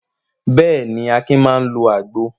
Bẹ́ẹ̀ ni, Akin máa ń lo àgbo.